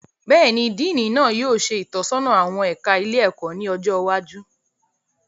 Béèni, Diini náà yóò ṣe itọsọna awọn ẹka ilé-ẹkọ ní ọjọ iwájú